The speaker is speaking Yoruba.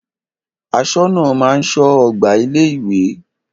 Aṣọ́nà máa ń ṣọ́ ọgbà ilé ìwé.